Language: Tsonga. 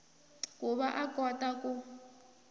ku va a kota ku